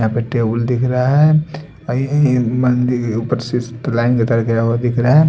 यहां पे टेबल दिख रहा है और ये ये मंदिर के ऊपर से लाइन का तार गया हुआ दिख रहा है।